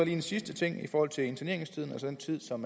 en sidste ting i forhold til interneringstiden altså den tid som